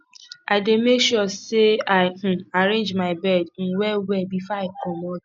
i dey make sure sey i um arrange my bed um well well before i comot